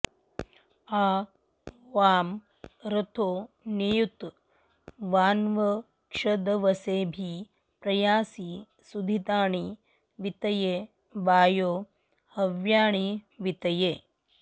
आ वां॒ रथो॑ नि॒युत्वा॑न्वक्ष॒दव॑से॒ऽभि प्रयां॑सि॒ सुधि॑तानि वी॒तये॒ वायो॑ ह॒व्यानि॑ वी॒तये॑